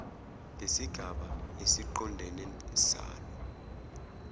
ngesigaba esiqondene salo